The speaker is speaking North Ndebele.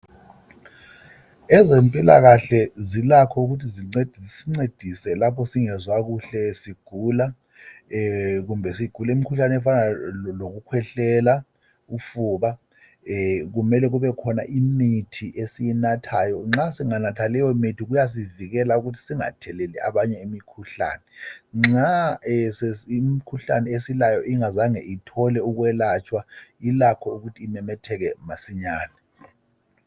Ezempilakahle zilakho ukuthi zincedise lapho singezwa kuhle sigula kumbe sigula imkhuhlane efana loku khwehlela, ufuba kumele kubekhona imithi esiyinathayo. Nxa singanatha leyo mithi kuyasivikela ukuthi singatheleli abanye imikhuhlane. Nxa imkhuhlane esilayo ingatholi ukulatshwa kulakho ukuthi imemetheke masinyane.